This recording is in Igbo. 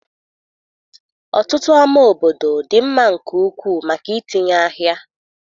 Ọtụtụ ámá obodo dị mma nke ukwuu maka itinye ahịa.